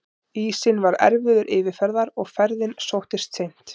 Ísinn var erfiður yfirferðar og ferðin sóttist of seint.